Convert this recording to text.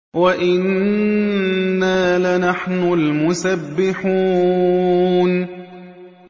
وَإِنَّا لَنَحْنُ الْمُسَبِّحُونَ